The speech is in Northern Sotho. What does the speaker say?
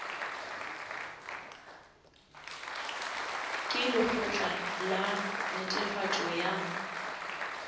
ke lekgotla la netefatšo ya